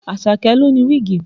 Àṣàkẹ́ ló ní wíìgì